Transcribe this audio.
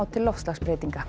til loftslagsbreytinga